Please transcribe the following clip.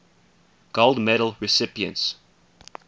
gold medal recipients